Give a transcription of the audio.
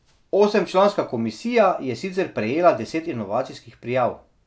Osemčlanska komisija je sicer prejela deset inovacijskih prijav.